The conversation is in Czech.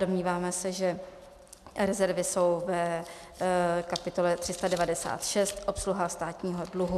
Domníváme se, že rezervy jsou v kapitole 396 Obsluha státního dluhu.